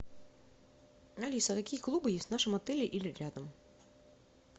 алиса какие клубы есть в нашем отеле или рядом